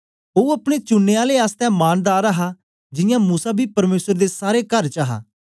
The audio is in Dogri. ओ अपने चुननें आले आसतै मानदार हा जियां मूसा बी परमेसर दे सारे कर च हा